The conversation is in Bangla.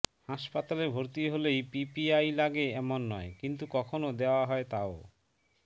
হাসপাতালে ভর্তি হলেই পিপিআই লাগে এমন নয় কিন্তু কখনও দেওয়া হয় তাও